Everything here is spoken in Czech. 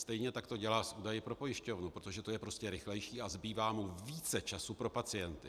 Stejně tak to dělá s údaji pro pojišťovnu, protože to je prostě rychlejší a zbývá mu více času pro pacienty.